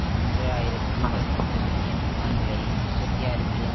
மூன்று ஆயிரத்தி பதினொன்று பில்லியன் யுவான்களை முப்பத்தி ஆறுபில்லியன்